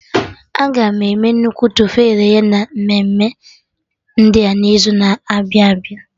Aga enwe nnukwu tofu e ghere eghe na emume dị n'izu na-abịa abịa